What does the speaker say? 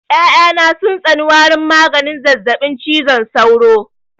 Ƴaƴa na sun tsani warin maganin zazzaɓin cizon sauro